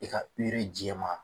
I ka jɛma